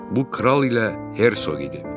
Bu Kral ilə Hersoq idi.